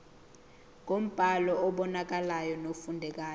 ngombhalo obonakalayo nofundekayo